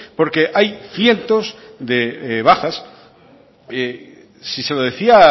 porque hay cientos de bajas si se lo decía